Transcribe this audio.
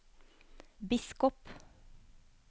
biskop